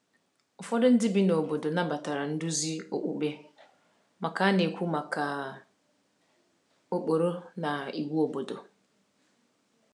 Ụfọdụ ndị bi na obodo nabatara nduzi okpukpe mgbe a na-ekwu maka ụkpụrụ na iwu obodo.